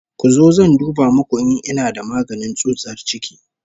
Ku zo zan duba muku in ina da magani tsutsar ciki